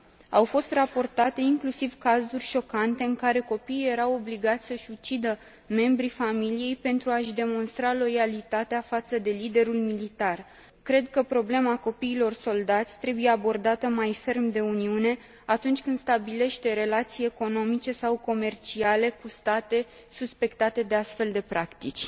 Au fost raportate inclusiv cazuri șocante în care copiii erau obligați să și ucidă membrii familiei pentru a și demonstra loialitatea față de liderul militar. Cred că problema copiilor soldați trebuie abordată mai ferm de Uniune atunci când stabilește relații economice sau comerciale cu state suspectate de astfel de practici.